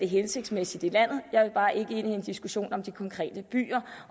hensigtsmæssigt i landet jeg vil bare ikke ind i en diskussion om de konkrete byer